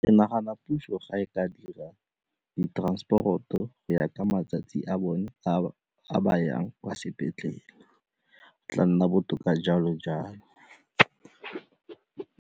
Ke nagana puso ga e ka dira di-transport-o go ya ka matsatsi a bone a ba yang kwa sepetlele, go tla nna botoka jalo-jalo.